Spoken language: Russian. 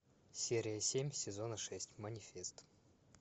серия семь сезона шесть манифест